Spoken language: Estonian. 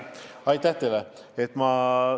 Aitäh teile!